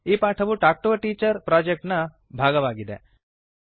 ಈ ಪಾಠವು talk to a teacher project ಎಂಬ ಪರಿಯೋಜನೆಯ ಭಾಗವಾಗಿದೆ